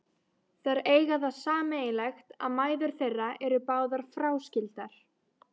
Þær eiga það sameiginlegt að mæður þeirra eru báðar fráskildar.